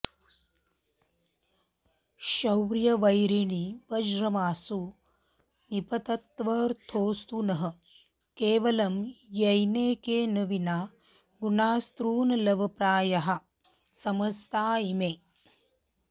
शौर्ये वैरिणि वज्रमाशु निपतत्वर्थोऽस्तु नः केवलं येनैकेन विना गुणास्तृणलवप्रायाः समस्ता इमे